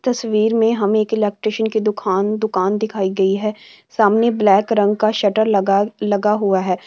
तस्वीर में हमे एक इलेक्ट्रीशियन की दुकान दुकान दिखाई गई है सामने ब्लैक रंग का शटर लगा-लगा हुआ है।